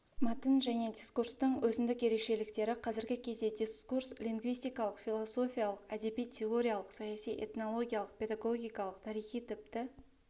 мәтін және дискурстың өзіндік ерекшеліктері қазіргі кезде дисурс лингвистикалық философиялық әдеби-теориялық саяси этнологиялық педагогикалық тарихи тіпті